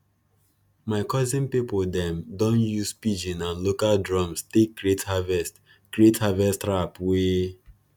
my cousin people dem don use pidgin and local drums take create harvest create harvest rap wey